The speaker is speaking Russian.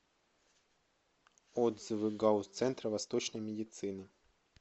отзывы гауз центр восточной медицины